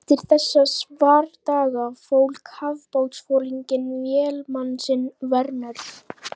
Eftir þessa svardaga fól kafbátsforinginn vélamann sinn Werner